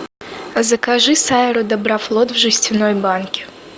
закажи сайру доброфлот в жестяной банке